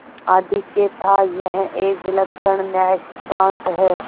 आधिक्य थायह एक विलक्षण न्यायसिद्धांत है